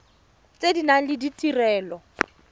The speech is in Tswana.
tse di nang le ditirelo